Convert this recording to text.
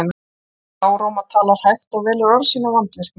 Málfríður er lágróma, talar hægt og velur orð sín af vandvirkni.